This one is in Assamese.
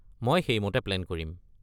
মই সেইমতে প্লেন কৰিম।